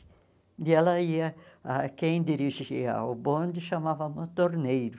E ela ia, ah quem dirigia o bonde chamava montorneiro.